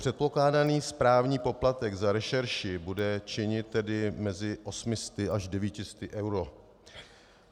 Předpokládaný správní poplatek za rešerši bude činit tedy mezi 800 až 900 eury.